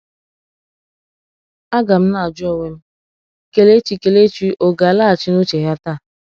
A ga m na-ajụ onwe m, Kelechi Kelechi ò ga-alaghachi n’uche ya taa?"